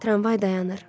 Tramvay dayanır.